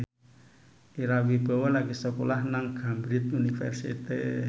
Ira Wibowo lagi sekolah nang Cambridge University